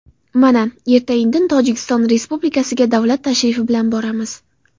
Mana, erta-indin Tojikiston Respublikasiga davlat tashrifi bilan boramiz.